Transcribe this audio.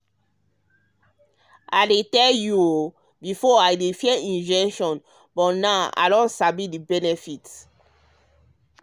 um i dey tell you o before i dey fear injection but now i sabi the benefit.